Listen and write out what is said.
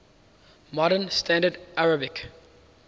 modern standard arabic